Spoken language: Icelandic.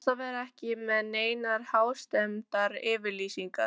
Best að vera ekki með neinar hástemmdar yfirlýsingar.